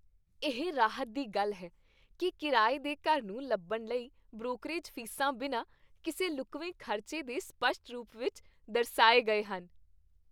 ਇਹ ਰਾਹਤ ਦੀ ਗੱਲ ਹੈ ਕਿ ਕਿਰਾਏ ਦੇ ਘਰ ਨੂੰ ਲੱਭਣ ਲਈ ਬ੍ਰੋਕਰੇਜ ਫੀਸਾਂ ਬਿਨਾਂ ਕਿਸੇ ਲੁਕਵੇਂ ਖ਼ਰਚੇ ਦੇ ਸਪਸ਼ਟ ਰੂਪ ਵਿੱਚ ਦਰਸਾਏ ਗਏ ਹਨ।